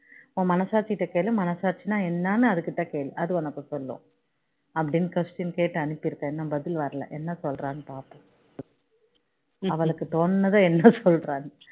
உன் மனசாட்சி கிட்ட கேளு மனசாட்சினா என்னன்னு அது கிட்ட கேளு அது உனக்கு சொல்லும் அப்படின்னு question கேட்டு அனுப்பி இருக்கேன் இன்னும் பதில வர்ல என்ன சொல்றான்னு பார்ப்போம் அவளுக்கு தோணுனத என்ன சொல்றான்னு